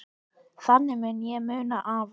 Þannig mun ég muna afa.